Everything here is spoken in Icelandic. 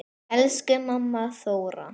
Elsku amma Þóra.